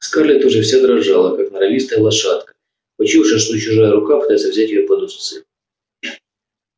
скарлетт уже вся дрожала как норовистая лошадка почуявшая что чуждая рука пытается взять её под уздцы